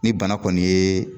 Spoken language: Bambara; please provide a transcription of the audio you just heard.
Ni bana kɔni ye